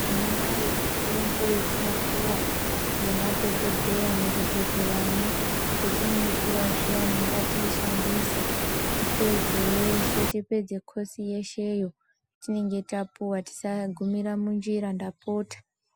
Tinayo mitombo yetinopuwa nemadhokodheya muzvibhedhleramwo ,petinoipiwa zviyani ngatiishandise tipedze yese tipedze koshi yesheyo tinenge tapuwa tisagumira munzira ndapota .